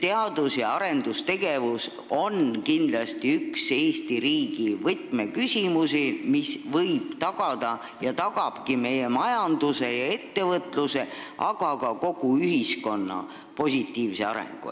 Teadus- ja arendustegevus on kindlasti üks Eesti riigi võtmeküsimusi, mis võib tagada ja tagabki meie majanduse ja ettevõtluse, aga ka kogu ühiskonna positiivse arengu.